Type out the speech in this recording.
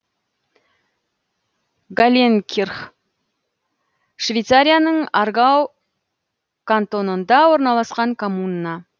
галленкирх швейцарияның аргау кантонында орналасқан коммуна